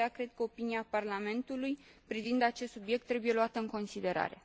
De aceea, cred că opinia Parlamentului privind acest subiect trebuie luată în considerare.